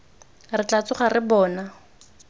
re tla tsoga re bona